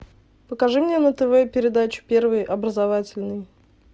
покажи мне на тв передачу первый образовательный